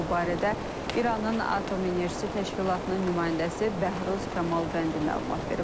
Bu barədə İranın Atom Enerjisi Təşkilatının nümayəndəsi Bəhruz Kamalvəndi məlumat verib.